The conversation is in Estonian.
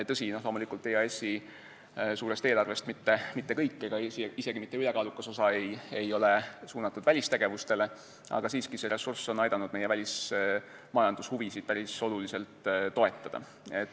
Tõsi, EAS-i suurest eelarvest mitte kõik ega isegi mitte ülekaalukas osa sellest ei ole suunatud välistegevustele, aga siiski on see ressurss aidanud meie välismajandushuvisid päris oluliselt toetada.